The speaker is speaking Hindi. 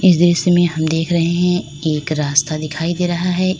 दृश्य में हम देख रहे है एक रास्ता दिखाई दे रहा है इस--